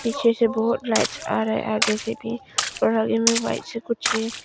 पीछे से बहोत लाइट्स आ रहे आगे से भी और आगे में व्हाइट से कुछ है।